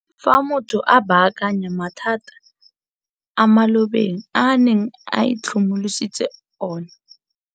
Fa motho a baakanya mathata a mo malo beng a neng a itlhokomolositse ona.